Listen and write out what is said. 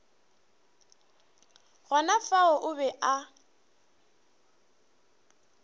gona fao o be a